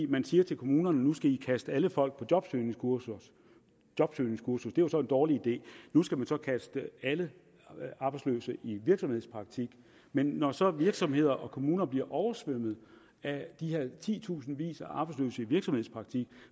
man siger til kommunerne nu skal i kaste alle folk på jobsøgningskursus jobsøgningskursus det var så en dårlig idé nu skal man så kaste alle arbejdsløse i virksomhedspraktik men når så virksomheder og kommuner bliver oversvømmet af de her titusindvis af arbejdsløse i virksomhedspraktik